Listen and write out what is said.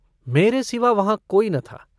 मेरे सिवा वहाँ कोई न था।